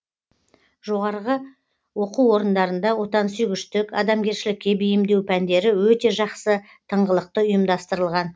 жоғарғы оқу орындарында отансүйгіштік адамгершілікке бейімдеу пәндері өте жақсы тыңғылықты ұйымдастырылған